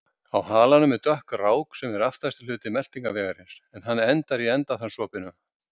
Á halanum er dökk rák sem er aftasti hluti meltingarvegarins, en hann endar í endaþarmsopinu.